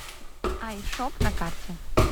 айшоп на карте